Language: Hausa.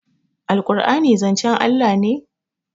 alqur'ani zancen Allah ne?